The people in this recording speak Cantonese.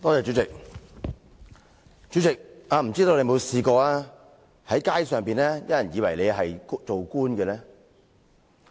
主席，我不知道你曾否在街上被誤以為是官員呢？